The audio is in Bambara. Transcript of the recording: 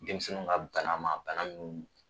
Denmisɛninw ka bana ma bana min